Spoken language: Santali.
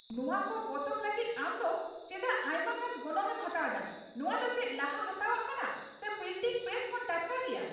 ᱱᱚᱶᱟ ᱠᱚ ᱯᱚᱛᱚᱵ ᱞᱟᱹᱜᱤᱫ ᱟᱢ ᱫᱚ ᱪᱮᱫᱟᱜ ᱟᱭᱢᱟᱜᱟᱱ ᱜᱚᱱᱚᱝ ᱮᱢ ᱦᱟᱛᱟᱣ ᱮᱫᱟ ? ᱱᱚᱶᱟ ᱫᱚ ᱪᱮᱫ ᱞᱟᱦᱟ ᱦᱟᱛᱟᱣᱟᱜ ᱠᱟᱱᱟ ᱥᱮ ᱯᱨᱤᱱᱴᱤᱝ ᱯᱨᱮᱥ ᱠᱷᱚᱱ ᱴᱟᱴᱠᱟ ᱜᱮᱭᱟ ?